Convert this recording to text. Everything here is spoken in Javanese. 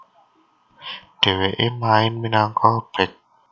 Dhewekè main minangka bek